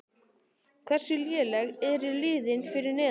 Hversu léleg eru liðin fyrir neðan?